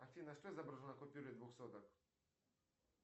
афина что изображено на купюре двух соток